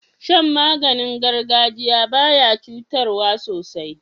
Shan maganin gargajiya baya cutarwa sosai